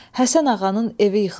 Həsən Ağanın evi yıxılsın.